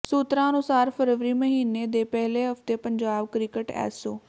ਸੂਤਰਾਂ ਅਨੁਸਾਰ ਫਰਵਰੀ ਮਹੀਨੇ ਦੇ ਪਹਿਲੇ ਹਫਤੇ ਪੰਜਾਬ ਕ੍ਰਿਕਟ ਐਸੋ